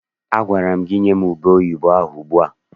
Agwara gị nye m ubeoyibo ahụ ugbu a!